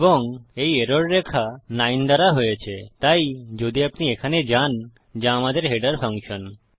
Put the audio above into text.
এবং এই এরর রেখা 9 দ্বারা হয়েছে তাই যদি আপনি এখানে যান যা আমাদের হেডার ফাংশন